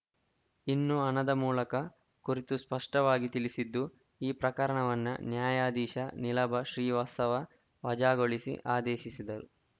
ಇನ್ನು ಹಣದ ಮೂಲಕ ಕುರಿತು ಸ್ಪಷ್ಟವಾಗಿ ತಿಳಿಸಿದ್ದು ಈ ಪ್ರಕರಣವನ್ನ ನ್ಯಾಯಾಧೀಶ ನೀಲಭ ಶ್ರೀವಾತ್ಸವ ವಜಾಗೊಳಿಸಿ ಆದೇಶಿಸಿದರು